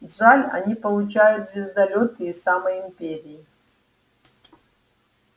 джаэль они получают звездолёты из самой империи